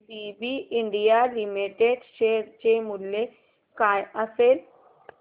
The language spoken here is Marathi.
एबीबी इंडिया लिमिटेड शेअर चे मूल्य काय असेल